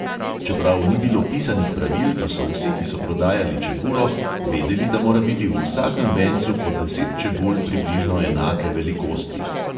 Čeprav ni bilo pisanih pravil, pa so vsi, ki so prodajali čebulo, vedeli, da mora biti v vsakem vencu po deset čebul približno enake velikosti.